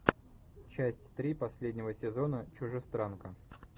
часть три последнего сезона чужестранка